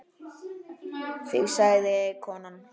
Þig sagði konan.